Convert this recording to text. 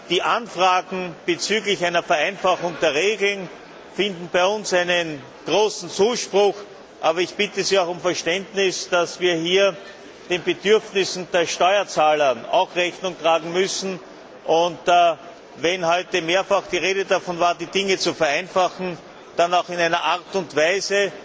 Die Anfragen bezüglich einer Vereinfachung der Regeln finden bei uns großen Zuspruch, aber ich bitte Sie auch um Verständnis, dass wir hier auch den Bedürfnissen der Steuerzahler Rechnung tragen müssen, und wenn heute mehrfach die Rede davon war, die Dinge zu vereinfachen, dann auch in einer Art und Weise,